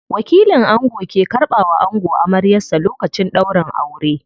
Wakilin ango ke karɓa wa ango amaryar sa lokacin ɗaurin aure.